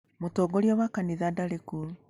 Mũtongoria wa kanitha ndarĩ kuo.